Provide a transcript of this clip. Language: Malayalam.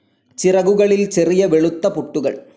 ചിറകുകളിൽ ചെറിയ വെളുത്ത പൊട്ടുകൾ.